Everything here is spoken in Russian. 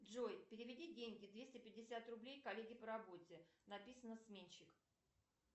джой переведи деньги двести пятьдесят рублей коллеге по работе написано сменщик